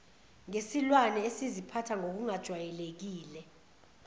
ngesilwane esiziphatha ngokungajwayelekile